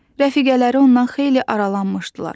Rəfiqələri ondan xeyli aralanmışdılar.